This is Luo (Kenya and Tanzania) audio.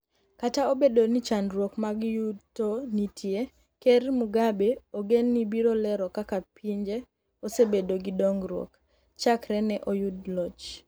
Kata obedo ni chandruok mag yuto nitie, Ker Mugabe ogen ni biro lero kaka pinje osebedo gi dongruok chakre ne oyud loch.